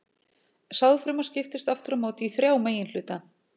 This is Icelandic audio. Sáðfruma skiptist aftur á móti í þrjá meginhluta.